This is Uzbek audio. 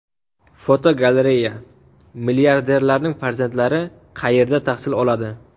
Fotogalereya: Milliarderlarning farzandlari qayerda tahsil oladi?.